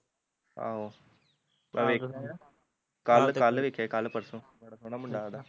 ਆਹੋ ਮੈਂ ਵੇਖਿਆ ਕੱਲ ਕੱਲ ਵੇਖਿਆ ਕੱਲ ਪਰਸੋਂ, ਬੜਾ ਸੋਹਣਾ ਮੁੰਡਾ ਓਹਦਾ